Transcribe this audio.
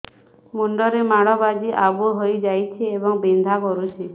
ମୁଣ୍ଡ ରେ ମାଡ ବାଜି ଆବୁ ହଇଯାଇଛି ଏବଂ ବିନ୍ଧା କରୁଛି